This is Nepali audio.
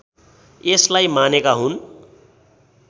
यसलाई मानेका हुन्